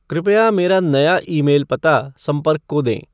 कृपया मेरा नया ईमेल पता संपर्क को दें